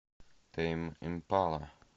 тэйм импала